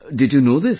Did you know this